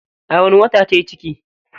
A wani wata tayi ciki?